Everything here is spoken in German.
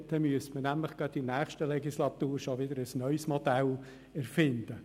Dann müsste man direkt in der nächsten Legislatur schon wieder ein neues Modell erfinden.